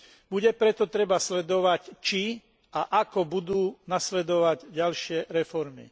Bude preto treba sledovať, či a ako budú nasledovať ďalšie reformy.